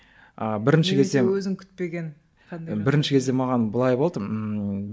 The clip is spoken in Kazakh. а бірінші кезде бірінші кезде маған былай болды ммм